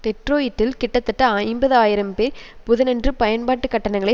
டெட்ரோயிட்டில் கிட்டத்தட்ட ஐம்பது ஆயிரம் பேர் புதனன்று பயன்பாட்டுக் கட்டணங்களை